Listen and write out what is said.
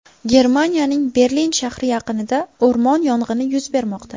Germaniyaning Berlin shahri yaqinida o‘rmon yong‘ini yuz bermoqda.